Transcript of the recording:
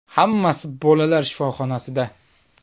Hammasi bolalar shifoxonasida.